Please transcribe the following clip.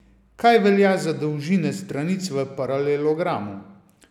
Kaj velja za dolžine stranic v paralelogramu?